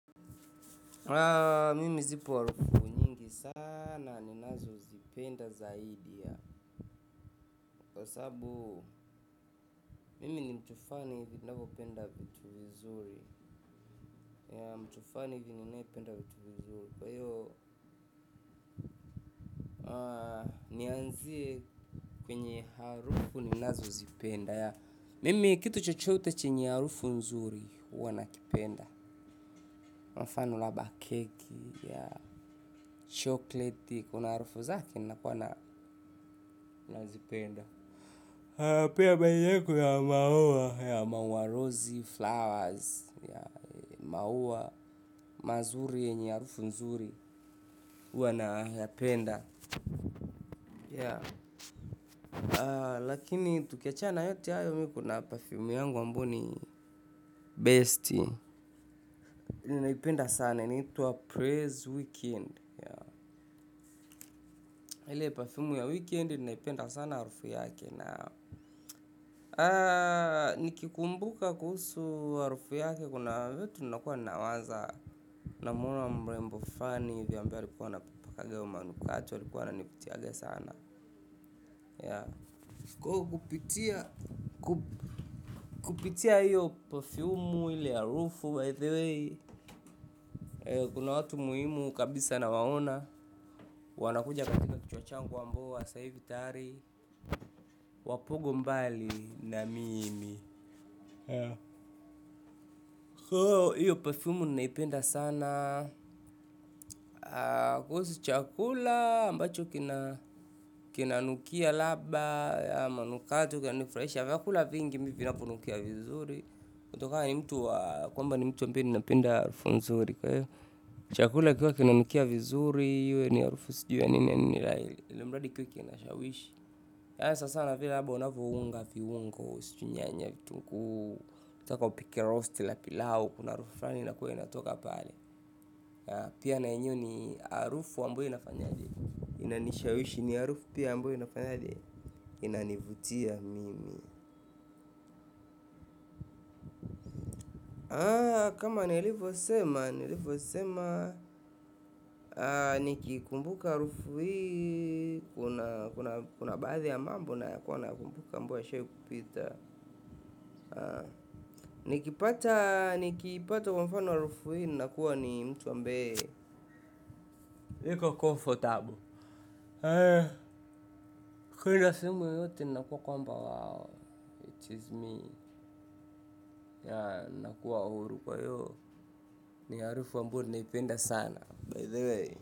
Mimi zipo harufu nyingi sana ninazozipenda zaidi ya kwa sababu mimi ni mtu fulani hivyo napenda vitu vizuri. Mtu fulani hivyo ninayependa vitu vizuri. Kwa hiyo nianzie kwenye harufu ninazozipenda. Mimi kitu chochote chenye harufu nzuri huwa na kipenda. Mfano labda keki ya chokleti kuna harufu zake nazipenda. Pia baina ya maua, ya maua rose flowers, ya maua mazuri yenye harufu nzuri huwana ya penda. Lakini tukiachana na yote hayo kuna perfume yangu ambayo ni best ninaipenda sana. Inaitwa Praise Weekend. Ile perfume ya weekend, ninaipenda sana harufu yake. Nikikumbuka kuhusu harufu yake, kuna vitu nakuwa nawaza. Namuona mrembo fulani hivi ambaye alikuwa anaipakanga hiyo manukato. Alikuwa ananipitiaga sana. Kupitia hiyo perfume ile harufu by the way, kuna watu muhimu kabisa na waona wanakuja katika kichwa changu ambao sasa hivi tayari wapogo mbali na mimi hiyo perfume ninaipenda sana. Kuhusu chakula ambacho kina kina nukia labda kwamba ni mtu ambaye napenda harufu nzuri, kwa hiyo chakula kikiwa kinanukia vizuri iwe ni harufu sijiui ya nini ilimradi kiwe kinanishawishi sasa nivile labda unavyounga viungo, sijui nyanya vitunguu ukitaka upike roast na pilau kuna harufu fulani huwa inatoka pale pia na yenyewe ni harufu ambayo inafanyaje? Inanishawishi ni harufu pia ambayo inafanyaje? Inanivutia mimi kama niliyvo sema, nilivyo sema, nikikumbuka harufu hii kunabaadhi ya mambo nakuwa nayakumbuka ambayo yashawahi kupita nikipata, nikipata kwa mfano harufu hii nakuwa ni mtu ambaye niko comfortable kuenda sehemu yote inakuwa kwamba, wao it is me nakuwa huru kwa hiyo ni harufu ambayo ninaipenda sana by the way.